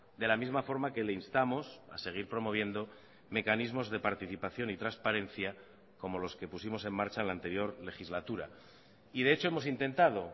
de la misma forma que le instamos a seguir promoviendo mecanismos de participación y transparencia como los que pusimos en marcha en la anterior legislatura y de hecho hemos intentado